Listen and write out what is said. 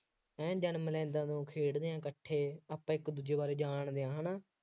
ਹੈਂ ਜਨਮ ਲੈਂਦਾ ਵਾਂਗੂੰ ਖੇਡਦੇ ਹਾਂ ਇਕੱਠੇ ਆਪਾਂ ਇੱਕ ਦੂਜੇ ਬਾਰੇ ਜਾਣਦੇ ਹਾਂ ਹੈ ਨਾ